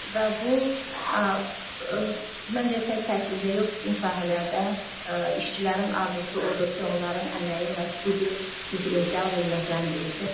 Və bu məncə tək təhsildə yox, bütün sahələrdə işçilərin arzusu odur ki, onların əməyi məhz bu cür diferensial qiymətləndirilsin.